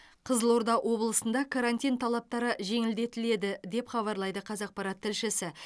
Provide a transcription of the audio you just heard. қызылорда облысында карантин талаптары жеңілдетіледі деп хабарлайды қазақпарат тілшісі